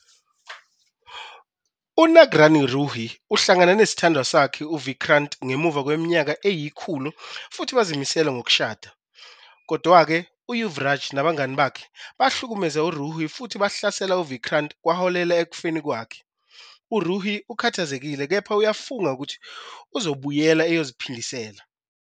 UNaagrani Ruhi uhlangana nesithandwa sakhe uVikrant ngemuva kweminyaka eyikhulu futhi bazimisele ngokushada. Kodwa-ke, uYuvraj nabangane bakhe bahlukumeza uRuhi futhi bahlasela uVikrant kwaholela ekufeni kwakhe. URuhi ukhathazekile kepha uyafunga ukuthi uzobuyela ezophindisela.